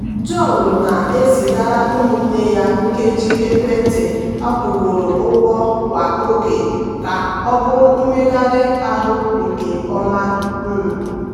john na-ezigara ụmụnne ya nkeji ekwentị akwụgoro ụgwọ kwa oge ka ọ bụrụ mmegharị ahụ nke ọma. um